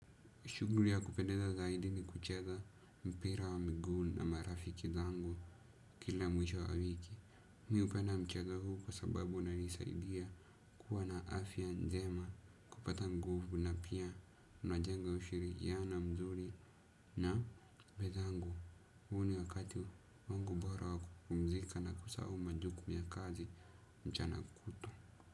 Shughuli ya kupendeza zaidi ni kucheza mpira wa miguu na marafiki zangu kila mwisho wa wiki. Mi hupenda mchezo huu kwa sababu unanisaidia kuwa na afya njema, kupata mguvu na pia najenga ushirikiana mzuri na wenzangu. Huu ni wakati wangu bora wa kupumzika na kusahau majukumu ya kazi mchana kutwa.